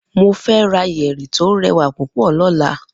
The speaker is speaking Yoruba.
Mo fe ra yeri to rewa pupo lola